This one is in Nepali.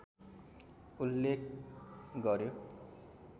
उल्लेख गर्‍यो